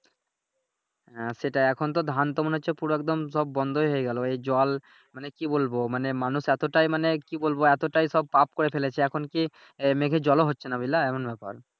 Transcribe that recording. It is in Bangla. হ্যাঁ সেটাই এখন তো মনে হচ্ছে ধান তো মনে হচ্ছে পুরো একদম সব বন্ধই হয়ে গেলো এই জোয়াল মানে কি বলবো মানে মানুষ এতোটাই মানে কি বলবো এতোটাই সব পাপ করে ফেলেছে এখন কি মেঘের জল ও হচ্ছে নাহ বুঝলা এমন ব্যাপার